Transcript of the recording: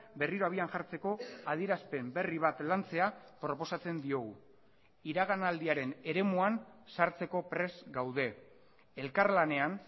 berriro abian jartzeko adierazpen berri bat lantzea proposatzen diogu iraganaldiaren eremuan sartzeko prest gaude elkarlanean